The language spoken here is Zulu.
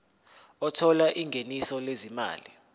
othola ingeniso lezimali